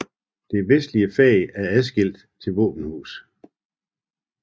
Det vestlige fag er afskilt til våbenhus